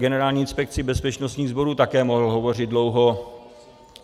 Generální inspekci bezpečnostních sborů také mohl hovořit dlouho.